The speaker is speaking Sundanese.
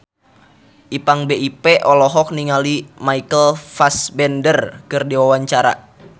Ipank BIP olohok ningali Michael Fassbender keur diwawancara